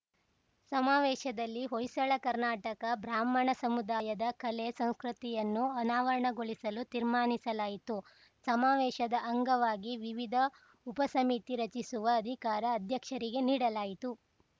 ಸಮಾವೇಶದಲ್ಲಿ ಹೊಯ್ಸಳ ಕರ್ನಾಟಕ ಬ್ರಾಹ್ಮಣ ಸಮುದಾಯದ ಕಲೆ ಸಂಸ್ಕತಿಯನ್ನು ಅನಾವರಣಗೊಳಿಸಲು ತೀರ್ಮಾನಿಸಲಾಯಿತು ಸಮಾವೇಶದ ಅಂಗವಾಗಿ ವಿವಿಧ ಉಪಸಮಿತಿ ರಚಿಸುವ ಅಧಿಕಾರ ಅಧ್ಯಕ್ಷರಿಗೆ ನೀಡಲಾಯಿತು